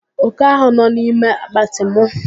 Oke ahụ nọ n'ime akpatị mụ.